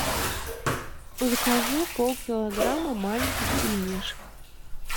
закажи полкилограмма маленьких пельмешек